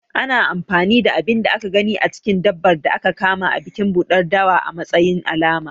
Ana anfani da abin da aka gani a cikin dabbar da aka kama a bikin ɓuɗar dawa a matsayin alama.